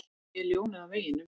Ég er ljónið á veginum.